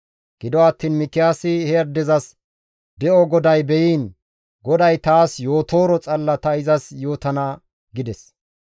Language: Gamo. Gido attiin Mikiyaasi he addezas, «De7o GODAY be7iin GODAY taas yootooro xalla ta izas yootana» gides.